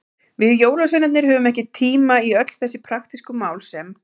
Við jólasveinarnir höfum ekki tíma í öll þessi praktísku mál sem.